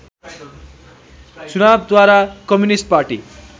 चुनावद्वारा communist party